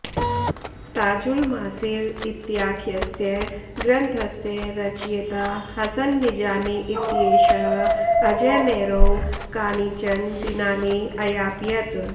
ताजुल मासिर इत्याख्यस्य ग्रन्थस्य रचयिता हसन निजामी इत्येषः अजयमेरौ कानिचन दिनानि अयापयत्